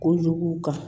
Kojugu kan